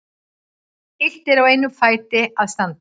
Illt er á einum fæti að standa.